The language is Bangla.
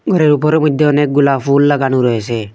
ঘরের উপরের মইধ্যে অনেকগুলা ফুল লাগানো রয়েছে।